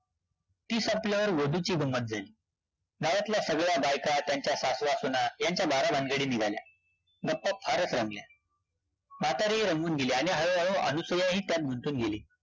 ती संपल्यावर गोदूची गंमत झाली, गावातल्या सगळ्या बायका, त्यांच्या सासवा-सूना ह्यांच्या बारा भानगडी निघाल्या, गप्पा फारचं रंगल्या, म्हातारीही रंगून गेली आणि हळू-हळू अनुसूया ही त्यात गुंतून गेली